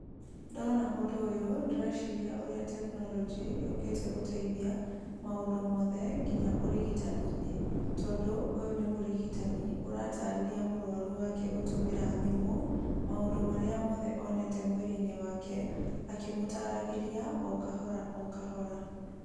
Ndona ũndũ ũyũ ndĩreciria ũrĩa tekinoronjĩ yũkĩte gũteithia maũndũ mothe nginya ũrigitani-inĩ. Tondũ ũyũ nĩ mũrigitani ũratarĩria mũrũaru wake, gũtũmĩra thimũ, maũndũ marĩa mothe onete mwĩrĩ-inĩ wake, akĩmũtaragĩria o kahora o kahora.